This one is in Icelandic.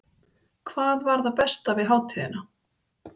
Breki: Hvað var það besta við hátíðina?